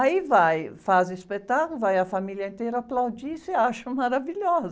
Aí vai, faz o espetáculo, vai a família inteira aplaudir e se acham maravilhosas.